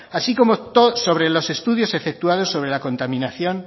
así como sobre los estudios efectuados sobre la contaminación